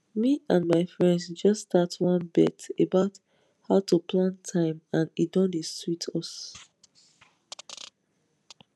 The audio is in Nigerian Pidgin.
me and my friends just start one bet about how to plan time and e don dey sweet us